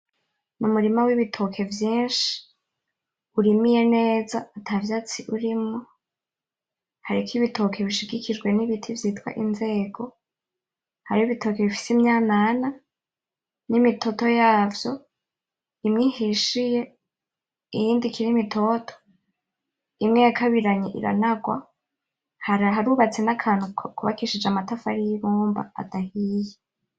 Umurima wibitoki vyinshi, urimye neza atavyatsi urimwo. Hariko ibitoke bishigikijwe nibiti vyitwa inzego. Hariho ibitoke bifise imyanana, nimitoto yavyo, imwe ihishiye iyindi ikiri mitoto. Imwe irakabiranye iranagwa. Harubatse nakantu kubakishije amatafari yibumba adahiye.